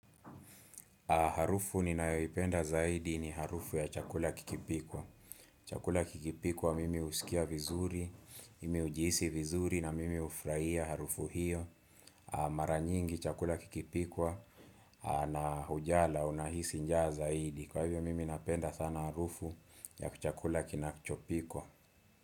Harufu ninayoipenda zaidi ni harufu ya chakula kikipikwa. Chakula kikipikwa mimi husikia vizuri, mimi ujihisi vizuri na mimi hufurahia harufu hiyo. Mara nyingi chakula kikipikwa na hujala unahisi njaa zaidi. Kwa hivyo mimi napenda sana harufu ya chakula kinakichopikwa.